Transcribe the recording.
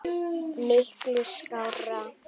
Miklu skárra.